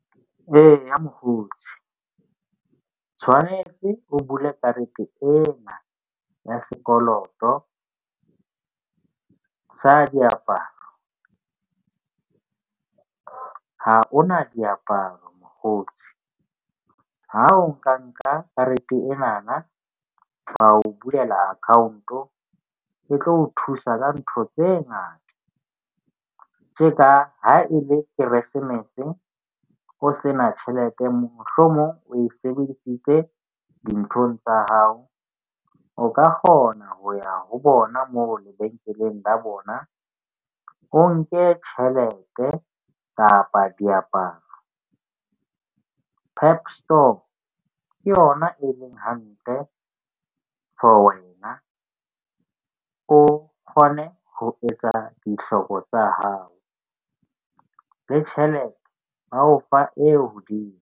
Eya, mokgotsi o tshwanetse o bule karete ena ya sekoloto sa diaparo. Ha hona diaparo mokgotsi. Ha o nka nka karete ena na ba o bulela account-o. E tlo o thusa ka ntho tse ngata tse ka ha e le keresemese, o se na tjhelete, mohlomong o e sebedisitse dinthong tsa hao. O ka kgona ho ya ho bona moo lebenkeleng la bona, o nke tjhelete kapa diaparo. PEP Store ke yona e leng hantle for wena. O kgone ho etsa dihloko tsa hao le tjhelete, ba o fa e hodimo.